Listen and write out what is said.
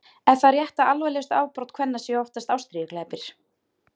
er það rétt að alvarlegustu afbrot kvenna séu oftast ástríðuglæpir